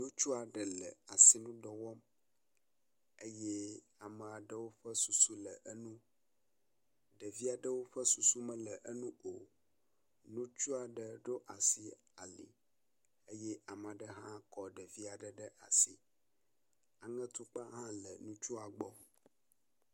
Ŋutsu aɖe le asinudɔ wɔm eye ame aɖewo ƒe susu le eŋu. Ɖevi aɖewo ƒe susu mele eŋu o. Ŋutsua ɖe ɖo asi ali eye ame aɖe hã kɔ ɖevi aɖe ɖe asi, aŋetukpa hã le ŋutsua gbɔ.